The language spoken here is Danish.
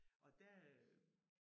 Og der øh